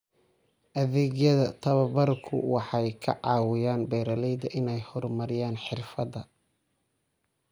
Adeegyada tababarku waxay ka caawiyaan beeralayda inay horumariyaan xirfadaha.